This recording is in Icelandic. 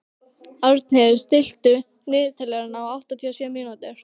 Árnheiður, stilltu niðurteljara á áttatíu og sjö mínútur.